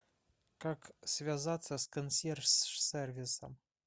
как связаться с консьерж сервисом